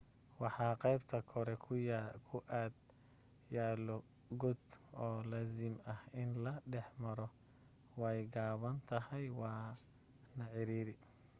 waxaa qaybta kore ku ag yaalo god oo laazim ah in la dhex maro way gaaban tahay waa na cariiri